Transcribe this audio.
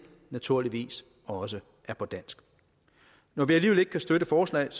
naturligvis også er på dansk når vi alligevel ikke kan støtte forslaget